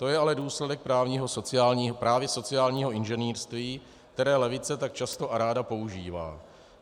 To je ale důsledek právě sociálního inženýrství, které levice tak často a ráda používá.